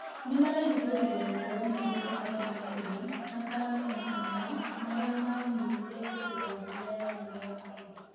nĩmarahĩthũrĩrĩe mohoro mangĩ matatũ ma tene mataramenyekaga marĩa maũmĩrire hĩndĩ ya ngũmo ya thĩmu ya Apple